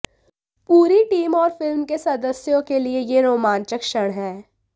पूरी टीम और फिल्म के सदस्यों के लिए यह रोमांचक क्षण है